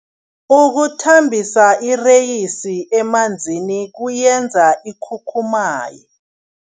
Ukuthambisa ireyisi emanzini kuyenza ikhukhumaye.